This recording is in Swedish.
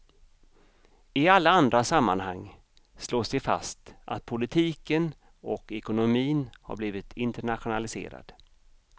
I alla andra sammanhang slås det fast att politiken och ekonomin har blivit internationaliserad.